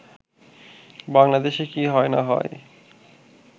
“বাংলাদেশে কি হয় না হয়